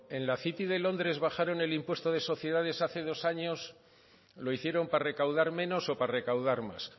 en la city de londres bajaron el impuesto de sociedades hace dos años lo hicieron para recaudar menos o para recaudar más